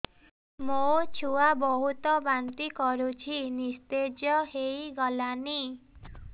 ମୋ ଛୁଆ ବହୁତ୍ ବାନ୍ତି କରୁଛି ନିସ୍ତେଜ ହେଇ ଗଲାନି